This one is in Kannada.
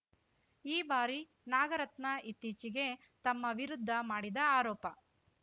ಈ ಬಾರಿ ನಾಗರತ್ನ ಇತ್ತೀಚೆಗೆ ತಮ್ಮ ವಿರುದ್ಧ ಮಾಡಿದ ಆರೋಪ